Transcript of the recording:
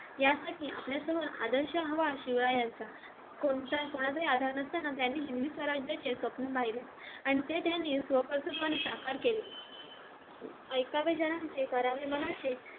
यासाठी आपल्यासमोर आदर्श हवा शिवरायांचा कोणता कोणाचाही आधार नसताना त्यांनी हिंदवी स्वराज्याचे स्वप्न पाहिल आणि ते त्यांनी स्वकर्तृत्त्वाने साकार केलं ऐकावे जनाचे करावे मनाचे